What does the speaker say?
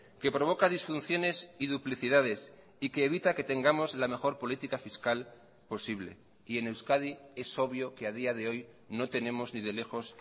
que provoca disfunciones y duplicidades y que evita que tengamos la mejor política fiscal posible y en euskadi es obvio que a día de hoy no tenemos ni de lejos